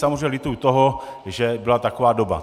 Samozřejmě lituji toho, že byla taková doba.